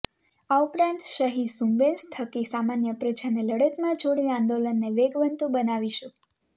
આ ઉપરાંત સહીઝુંબેશ થકી સામાન્ય પ્રજાને લડતમાં જોડી આંદોલનને વેગવંતુ બનાવીશું